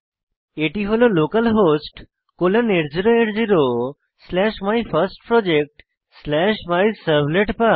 এটি হল localhost colon 8080 slash my first project slash my servlet path